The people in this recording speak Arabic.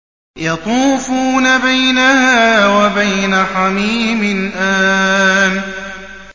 يَطُوفُونَ بَيْنَهَا وَبَيْنَ حَمِيمٍ آنٍ